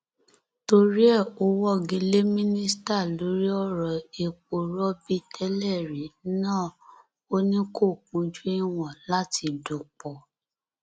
torí ẹ ò wọgi lé mínísítà lórí ọrọ epo rọbì tẹlẹrí náà ò ní kó kúnjú ìwọn láti dúpọ